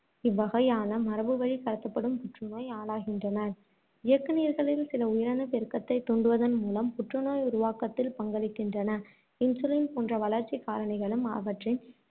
இவ்வகையான மரபு வழிக் கடத்தப்படும் புற்று நோய் ஆளாகின்றனர். இயக்குநீர்களில் சில உயிரணுப் பெருக்கத்தைத் தூண்டுவதன் மூலம் புற்று நோய் உருவாக்கத்தில் பங்களிக்கின்றன. insulin போன்ற வளர்ச்சிக் காரணிகளும், அவற்றின்